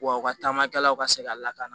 Wa u ka taamakɛlaw ka se ka lakana